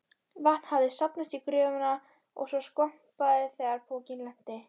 Vatn hafði safnast í gröfina svo skvampaði þegar pokinn lenti.